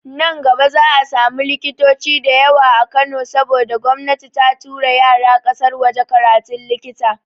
Nan gaba za'a samu likitoci da yawa a Kano saboda gomnati ta tura yara ƙasar waje karatun likita.